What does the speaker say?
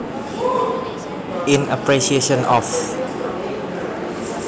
In Appreciation of